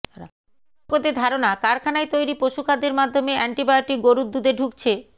বিশেষজ্ঞদের ধারণা কারখানায় তৈরি পশু খাদ্যের মাধ্যমে অ্যান্টিবায়োটিক গরুর দুধে ঢুকছে